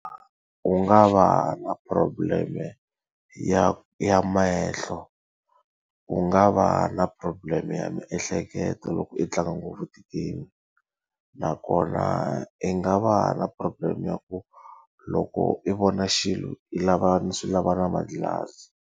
U nga va na problem-e ya ya mehlo. U nga va na problem-e ya miehleketo loko i tlanga ngopfu ti-game. Nakona i nga va na problem ya ku, loko i vona xilo i lava ni swi lava na manghilazi.